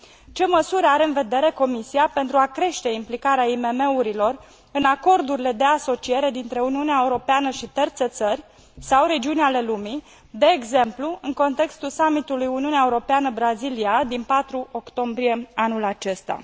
Ce măsuri are în vedere Comisia pentru a crește implicarea IMM urilor în acordurile de asociere dintre Uniunea Europeană și terțe țări sau regiuni ale lumii, de exemplu în contextul summitului Uniunea Europeană Brazilia din 4 octombrie anul acesta?